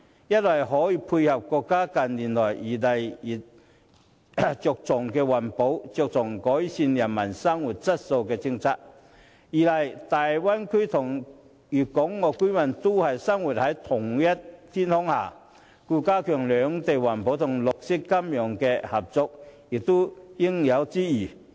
一方面，此舉可以配合國家近來日益注重環保和改善人民生活質素的政策；另一方面，大灣區的粵港澳居民生活在同一天空下，兩地加強在環保和綠色金融方面的合作，也是應有之義。